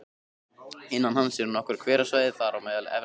Innan hans eru nokkur hverasvæði, þar á meðal Efra svæðið